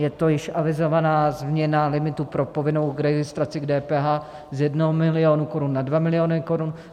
Je to již avizovaná změna limitu pro povinnou registraci k DPH z 1 milionu korun na 2 miliony korun.